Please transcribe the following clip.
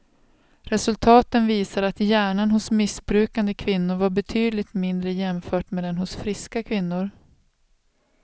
Resultaten visar att hjärnan hos missbrukande kvinnor var betydligt mindre jämfört med den hos friska kvinnor.